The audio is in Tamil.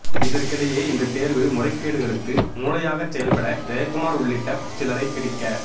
இதற்கிடையில் இந்தத் தேர்வு முறைகேடுகளுக்கு மூளையாகச் செயல்பட்ட ஜெயகுமார் உள்ளிட்ட சிலரை பிடிக்க